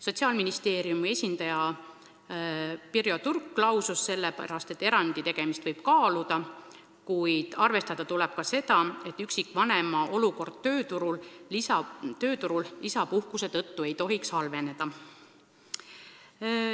Sotsiaalministeeriumi esindaja Pirjo Turk lausus selle peale, et erandi tegemist võib kaaluda, kuid arvestada tuleb ka seda, et üksikvanema võimalused tööturul ei tohiks lisapuhkuse tõttu halveneda.